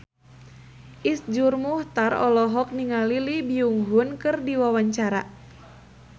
Iszur Muchtar olohok ningali Lee Byung Hun keur diwawancara